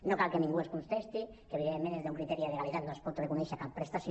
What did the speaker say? no cal que ningú ens contesti que evidentment des d’un criteri de legalitat no es pot reconèixer cap prestació